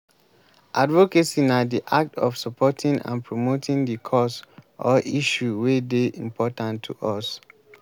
advocacy na di act of supporting and promoting di cause or issue wey dey important to us.